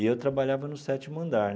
E eu trabalhava no sétimo andar.